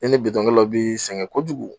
E ni bitonkɛlaw bi sɛgɛn kojugu.